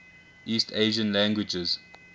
east asian languages